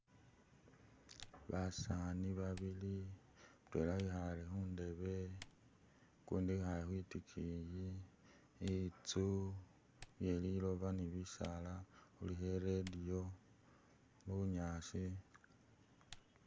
Basani babili mutwela wikhale khundebe ukundi wekhale khwitikiyi intsu iye liloba, ni bisaala khulikho i'radio bunyaasi